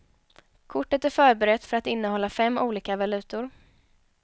Kortet är förberett för att innehålla fem olika valutor.